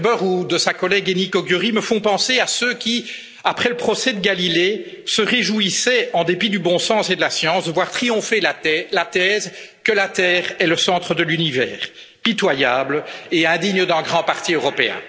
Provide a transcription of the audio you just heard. Ferber ou de sa collègue Enikő Győri me font penser à ceux qui, après le procès de Galilée, se réjouissaient, en dépit du bon sens et de la science, de voir triompher la paix la thèse que la Terre et le centre de l'univers pitoyable et indigne d'un grand parti européen.